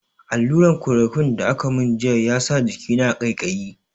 Alluran "chloroquine" da aka mun jiya ya sa jikina ƙaiƙayi.